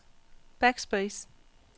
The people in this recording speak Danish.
backspace